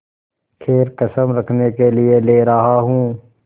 खैर कसम रखने के लिए ले रहा हूँ